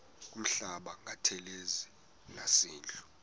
kuhlamba ngantelezi nasidlo